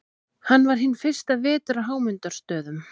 Hann var hinn fyrsta vetur á Hámundarstöðum.